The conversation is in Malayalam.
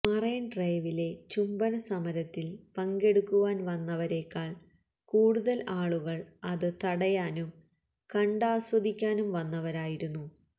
മറൈന് ഡ്രൈവിലെ ചുംബനസമരത്തില് പങ്കെടുക്കാന് വന്നവരേക്കാള് കൂടുതല് ആളുകള് അത് തടയാനും കണ്ടാസ്വദിക്കാനും വന്നവരായിരുന്നു